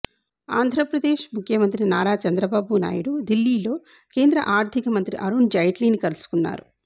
ఆంధ్రప్రదేశ్ ముఖ్యమంత్రి నారా చంద్రబాబు నాయుడు ఢిల్లీలో కేంద్ర ఆర్థికమంత్రి అరుణ్ జైట్లీని కలుసుకున్నారు